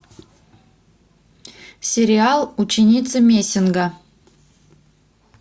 сериал ученица мессинга